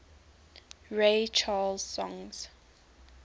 ray charles songs